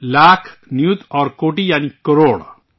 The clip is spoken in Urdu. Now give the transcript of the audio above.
لاکھ، نیوت اور کوٹی یعنی کروڑ